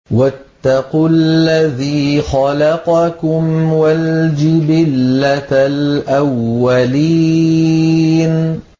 وَاتَّقُوا الَّذِي خَلَقَكُمْ وَالْجِبِلَّةَ الْأَوَّلِينَ